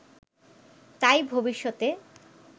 তাই ভবিষ্যতে